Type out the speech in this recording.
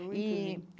E Muito lindo.